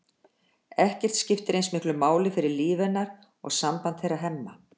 Ekkert skiptir eins miklu máli fyrir líf hennar og samband þeirra Hemma.